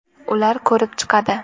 Ular ko‘rib chiqadi.